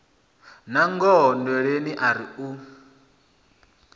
nangoho nndweleni o ri u